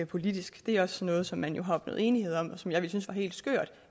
politisk det er også sådan noget som man har opnået enighed om og som jeg ville synes var helt skørt